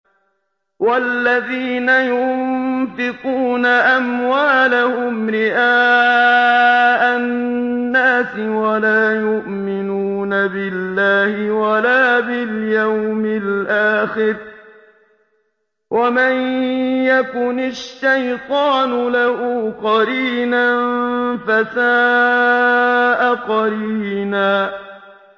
وَالَّذِينَ يُنفِقُونَ أَمْوَالَهُمْ رِئَاءَ النَّاسِ وَلَا يُؤْمِنُونَ بِاللَّهِ وَلَا بِالْيَوْمِ الْآخِرِ ۗ وَمَن يَكُنِ الشَّيْطَانُ لَهُ قَرِينًا فَسَاءَ قَرِينًا